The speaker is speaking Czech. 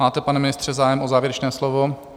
Máte, pane ministře, zájem o závěrečné slovo?